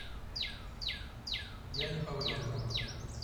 яне павленко